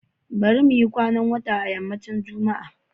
Bari muyi kwanan wata a yammacin Juma'a